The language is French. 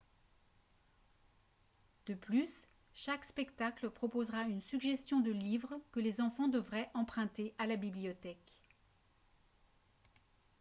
de plus chaque spectacle proposera une suggestion de livres que les enfants devraient emprunter à la bibliothèque